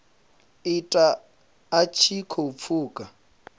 ita a tshi khou pfuka